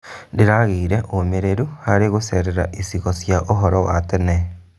Ndĩragĩire ũmĩrĩru harĩ gũcerera icigo cia ũhoro wa tene.